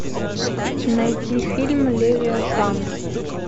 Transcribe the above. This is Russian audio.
найти фильм левиафан